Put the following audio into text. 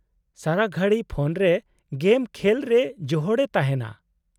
-ᱥᱟᱨᱟ ᱜᱷᱟᱹᱲᱤ ᱯᱷᱳᱱ ᱨᱮ ᱜᱮᱢ ᱠᱷᱮᱞ ᱨᱮ ᱡᱚᱦᱚᱲᱮ ᱛᱟᱦᱮᱸᱱᱟ ᱾